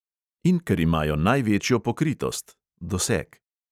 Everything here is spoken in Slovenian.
In ker imajo največjo pokritost